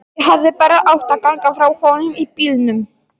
Ég hefði bara átt að ganga frá honum í bílnum.